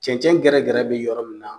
Cɛncɛn gɛrɛ gɛrɛ be yɔrɔ min na